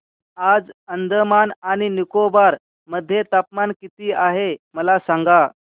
आज अंदमान आणि निकोबार मध्ये तापमान किती आहे मला सांगा